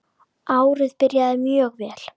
Árið byrjar mjög vel.